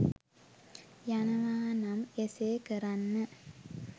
යනවා නම් එසේ කරන්න.